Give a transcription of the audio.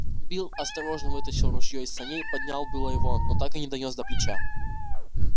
билл осторожно вытащил ружьё из саней поднял было его но так и не донёс до плеча